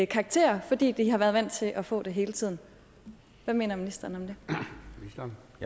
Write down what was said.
karakterer fordi de har været vant til at få dem hele tiden hvad mener ministeren